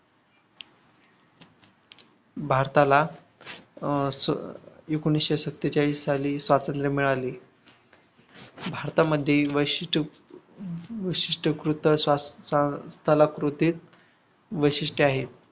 भारताला अह एकोणविशे सत्तेचाळीस साली स्वातंत्र्य मिळाले भारतामध्ये वैशिष्ट वैशिष्टकृत्त सलाकृतीत वैशिष्ट्ये आहे